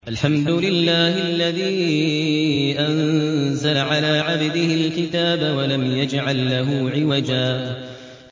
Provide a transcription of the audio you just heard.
الْحَمْدُ لِلَّهِ الَّذِي أَنزَلَ عَلَىٰ عَبْدِهِ الْكِتَابَ وَلَمْ يَجْعَل لَّهُ عِوَجًا ۜ